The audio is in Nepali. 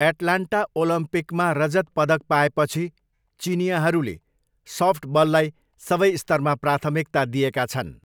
एटलान्टा ओलम्पिकमा रजत पदक पाएपछि चिनियाँहरूले सफ्टबललाई सबै स्तरमा प्राथमिकता दिएका छन्।